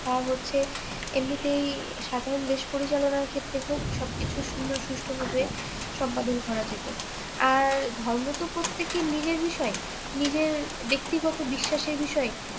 আহ হচ্ছে এমনিতেই সাধারণ দেশ পরিচালনার ক্ষেত্রেই হোক সবকিছু সুন্দর সুষ্ঠুভাবে করা যেত আর ধর্ম তো প্রত্যেকের নিজের বিষয় নিজের ব্যক্তিগতো বিশ্বাসের বিষয়